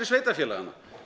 sveitarfélaganna